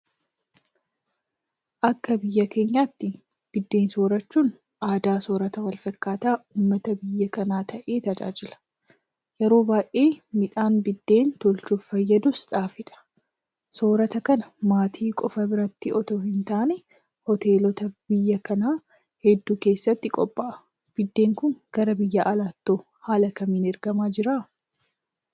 Akka biyya keenyaatti biddeen soorachuun aadaa soorrata walfakkaataa uummata biyya kanaa ta'ee tajaajila. Yeroo baay'ee midhaan Biddeen tolchuuf fayyadus Xaafiidha. Soorrata kana maatii qofa biratti itoo hintaane Hoteelota biyya kanaa hedduu keessatti qophaa'a. Biddeen kun gara biyya alaattoo haala kamiin ergamaa jira?